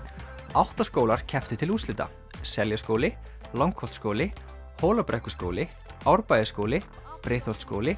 átta skólar kepptu til úrslita Seljaskóli Langholtsskóli Hólabrekkuskóli Árbæjarskóli Breiðholtsskóli